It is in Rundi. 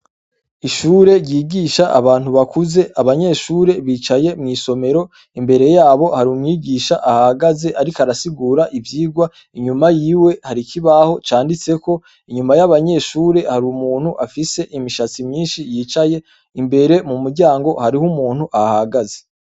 Ishure ryigisha abantu bakuze abanyeshure bicaye mw'isomero imbere yabo hari umwigisha ahahagaze ariko arasigura ivyigwa inyuma yiwe hari ikibaho canditseko inyuma y'abanyeshure hari umuntu afise imishatsi myinshi yicaye imbere mu muryango hariho umuntu ahahagaze